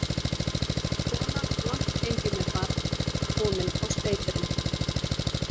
Kona langt gengin með barn, komin á steypirinn.